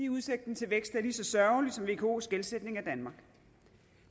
udsigten til vækst er lige så sørgelig som vko’s gældsætning af danmark